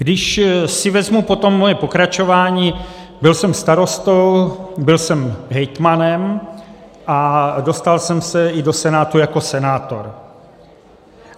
Když si vezmu potom svoje pokračování, byl jsem starostou, byl jsem hejtmanem a dostal jsem se i do Senátu jako senátor.